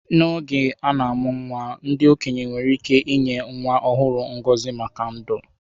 N’oge a na-amụ nwa, ndị okenye nwere ike inye nwa ọhụrụ ngọzi maka ndụ.